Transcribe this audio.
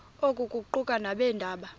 oku kuquka nabeendaba